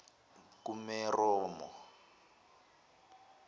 kumeromo